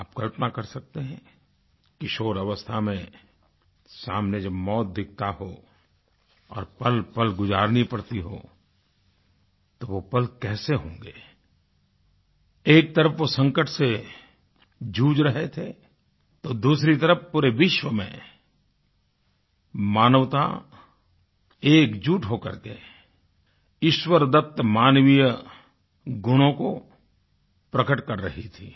आप कल्पना कर सकते हैं किशोर अवस्था में सामने जब मौत दिखती हो और पलपल गुजारनी पड़ती हो तो वो पल कैसे होंगे एक तरफ वो संकट से जूझ रहे थे तो दूसरी तरफ पूरे विश्व में मानवता एकजुट होकर के ईश्वरदत्त मानवीय गुणों को प्रकट कर रही थी